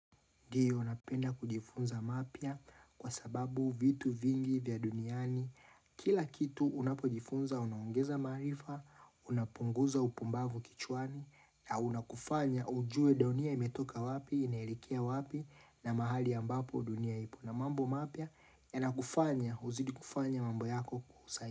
Ndio, napenda kujifunza mapya kwa sababu vitu vingi vya duniani. Kila kitu unapojifunza, unaongeza maarifa, unapunguza upumbavu kichwani, na unakufanya ujue dunia imetoka wapi, inaelekea wapi, na mahali ambapo dunia ipo. Na mambo mapya, yanakufanya, uzidi kufanya mambo yako kwa usahihi.